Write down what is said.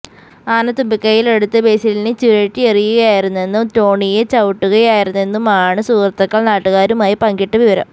ആന തുമ്പികൈയിലെടുത്ത് ബേസിലിനെ ചുഴറ്റിയെറിയുകയായിരുന്നെന്നും ടോണിയെ ചവിട്ടുകയായിരുന്നെന്നുമാണ് സുഹൃത്തുകൾ നാട്ടുകാരുമായി പങ്കിട്ട വിവരം